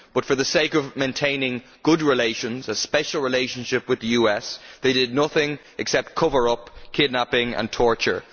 But for the sake of maintaining good relations, a special relationship with the US, they did nothing except cover up kidnapping and torture.